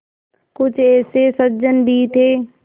कुछ ऐसे सज्जन भी थे